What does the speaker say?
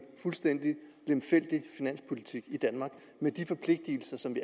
fuldstændig lemfældig finanspolitik i danmark med de forpligtelser som vi